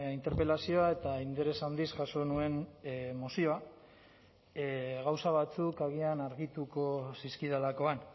interpelazioa eta interes handiz jaso nuen mozioa gauza batzuk agian argituko zizkidalakoan